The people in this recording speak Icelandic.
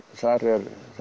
þar